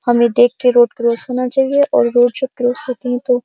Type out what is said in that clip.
हमें देखके road cross करना चाहिये और रोड जो क्रॉस होती है तो --